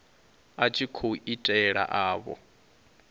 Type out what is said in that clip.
a tshi khou itela avho